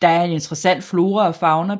Der er en interessant flora og fauna